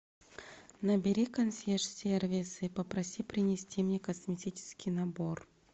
набери консьерж сервис и попроси принести мне косметический набор